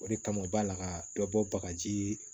O de kama u b'a laka bɛɛ bɔ bagaji